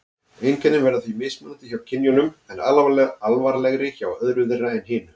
Einkennin verða því mismunandi hjá kynjunum og alvarlegri hjá öðru þeirra en hinu.